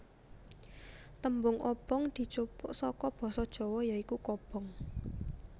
Tembung obonk dijupuk saka basa Jawa ya iku kobong